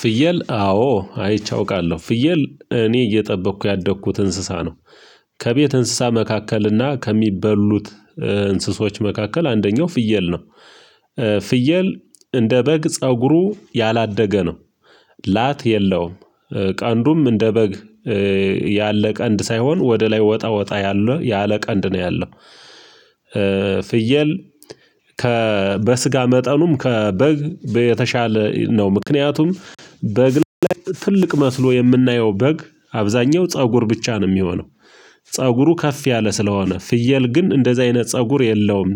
ፍየል አዎ አይቼ አውቃለሁ ፍየል እኔ እየጠበኩ ያደግኩት እንስሳ ነው። ከቤት እንስሳ መካከል እና ከሚበሉት እንስሶች መካከል አንደኛው ፍየል ነው። ፍየል እንደ በግ ፀጉሩ ያላደገ ነው። ላት የለውም። ቀንዱም እንደ በግ ያለ ቀንድ ሳይሆን ወደ ላይ ወጣ ወጣ ያለው ያለ ቀንድ ነው ያለው። ፍየል ከበስጋ መጠኑም ከበግ የተሻለ ነው ምክንያቱም በግ ላይ ትልቅ መስሎ የምናየው በግ አብዛኛው ፀጉር ብቻ ነው የሚሆነው። ፀጉሩ ከፍ ያለ ስለሆነ ፍየል ግን እንደዚህ አይነት ፀጉር የለውም።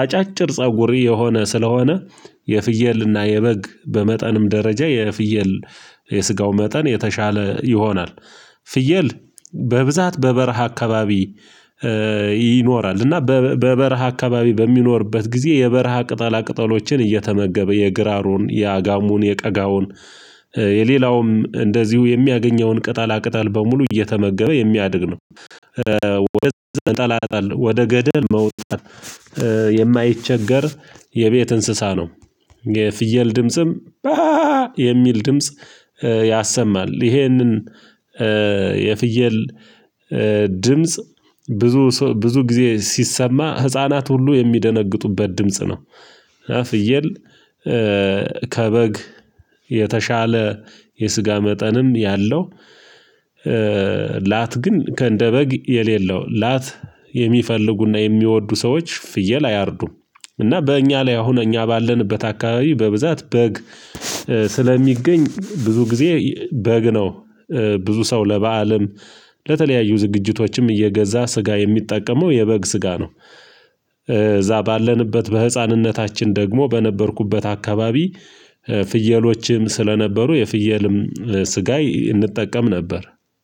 አጫጭር ፀጉር የሆነ ስለሆነ የፍየልና የበግ በመጠንም ደረጃ የፍየል የስጋው መጠን የተሻለ ይሆናል። ፍየል በብዛት በበረሃ አካባቢ ይኖራል እና በበረሃ አካባቢ በሚኖርበት ጊዜ የበረሃ ቅጠላ ቅጠሎችን እየተመገበ የግራሩን የአጋሙን የቀጋውን የሌላውም እንደዚሁ የሚያገኘውን ቅጠላ ቅጠል በሙሉ እየተመገበ የሚያድግ ነው። ወደ ገደል መውጣት የማይቸገር የቤት እንስሳ ነው። የፍየል ድምጽም የሚል ድምጽ ያሰማል ይሄንን የፍየል ድምጽ ብዙ ሰው ብዙ ጊዜ ሲሰማ ህፃናት ሁሉ የሚደነግጡበት ድምጽ ነው። ፍየል ከበግ የተሻለ የስጋ መጠንም ያለው። ላት ግን ከእንደ ከእንደበግ የሌለው ላት የሚፈልጉና የሚወዱ ሰዎች ፍየል አያርዱም። እና በእኛ ላይ አሁን እኛ ባለንበት አካባቢ በብዛት በግ ስለሚገኝ ብዙ ጊዜ በግ ነው። ብዙ ሰው ለበአልም ለተለያዩ ዝግጅቶችም እየገዛ ስጋ የሚጠቀመው የበግ ስጋ ነው። እዛ ባለንበት በህፃንነታችን ደግሞ በነበርኩበት አካባቢ ፍየሎችም ስለነበሩ የፍየልም ስጋይ እንጠቀም ነበር